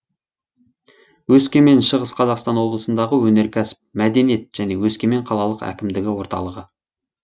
өскемен шығыс қазақстан облысындағы өнеркәсіп мәдениет және өскемен қалалық әкімдігі орталығы